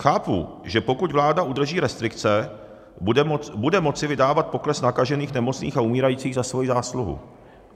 Chápu, že pokud vláda udrží restrikce, bude moci vydávat pokles nakažených, nemocných a umírajících za svoji zásluhu.